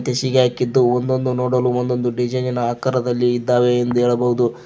ಇಸಿಗೆ ಹಾಕಿದ್ದು ಒಂದೊಂದು ನೋಡಲು ಒಂದೊಂದು ಡಿಸೈನಿನ ಆಕಾರದಲ್ಲಿ ಇದ್ದಾವೆ ಎಂದು ಹೇಳಬಹುದು.